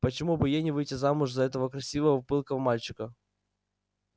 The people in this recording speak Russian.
почему бы ей не выйти замуж за этого красивого пылкого мальчика